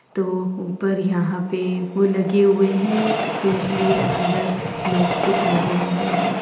तो ऊपर यहाँ पे फूल लगे हुए हैं तो इसलिए अन्दर लोग दिख नही रहे हैं।